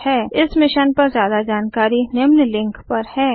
इस मिशन पर ज्यादा जानकारी निम्न लिंक पर है spoken tutorialorgnmeict इंट्रो